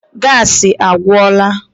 Gassi agwụla.